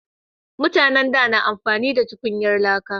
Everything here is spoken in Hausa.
Mutanen da na amfani da tukunyar laka